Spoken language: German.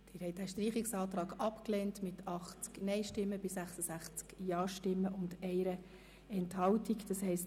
Sie haben den Streichungsantrag mit 80 Nein- gegen 66 Ja-Stimmen bei 1 Enthaltung abgelehnt.